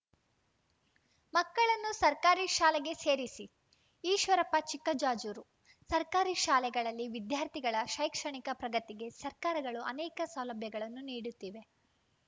ಮಕ್ಕಳನ್ನು ಸರ್ಕಾರಿ ಶಾಲೆಗೆ ಸೇರಿಸಿ ಈಶ್ವರಪ್ಪ ಚಿಕ್ಕಜಾಜೂರು ಸರ್ಕಾರಿ ಶಾಲೆಗಳಲ್ಲಿ ವಿದ್ಯಾರ್ಥಿಗಳ ಶೈಕ್ಷಣಿಕ ಪ್ರಗತಿಗೆ ಸರ್ಕಾರಗಳು ಅನೇಕ ಸೌಲಭ್ಯಗಳನ್ನು ನೀಡುತ್ತಿವೆ